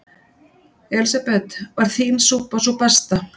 Elísabet: Var þín súpa sú besta?